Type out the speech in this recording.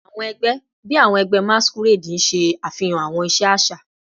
Awọn ẹgbẹ bii awọn ẹgbẹ masquerade ṣe afihan awọn iṣe aṣa